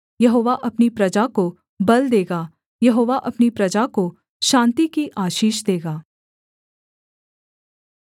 यहोवा अपनी प्रजा को बल देगा यहोवा अपनी प्रजा को शान्ति की आशीष देगा